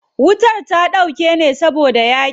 Wutar ta dauke ne saboda yaƙin.